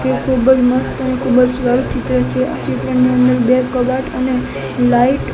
એ ખુબ જ મસ્ત અને ખુબ જ સારું ચિત્ર છે આ ચિત્રની અંદર બે કબાટ અને લાઈટ --